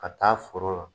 Ka taa foro la